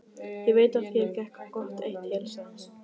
Ég veit að þér gekk gott eitt til, sagði hún.